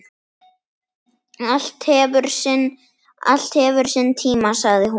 Allt hefur sinn tíma, sagði hún.